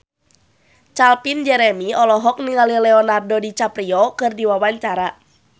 Calvin Jeremy olohok ningali Leonardo DiCaprio keur diwawancara